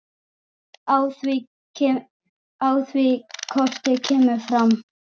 Á því korti kemur fram